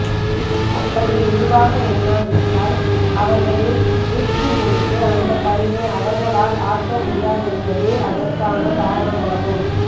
அப்படி இழிவாக எண்ணாவிட்டால் அவர்களை மீட்கும்பொருட்டு அந்தப் பணியை அவர்களால் ஆற்ற முடியாதென்பதே அதற்கான காரணமாகும்